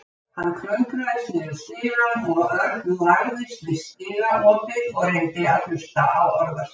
Hann klöngraðist niður stigann og Örn lagðist við stigaopið og reyndi að hlusta á orðaskipti.